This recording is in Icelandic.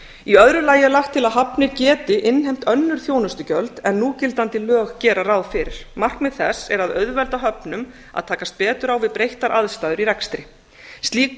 í öðru lagi er lagt til að hafnir geti innheimt önnur þjónustugjöld en núgildandi lög gera ráð fyrir markmið þess er að auðvelda höfnum að takast betur á við breyttar aðstæður í rekstri slík